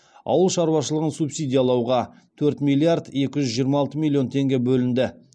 ауыл шаруашылығын субсидиялауға төрт миллиард екі жүз жиырма алты миллион теңге бөлінді